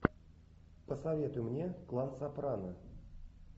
посоветуй мне клан сопрано